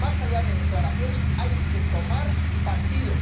Más allá de declaraciones, hay que tomar partido.